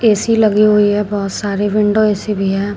AC लगी हुई है बहोत सारी विंडो ऐ_सी भी है।